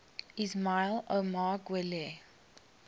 ismail omar guelleh